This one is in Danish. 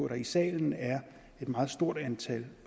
der i salen er et meget stort antal